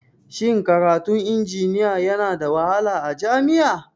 Shin karatun injiniya Yana da wahala a jami'a?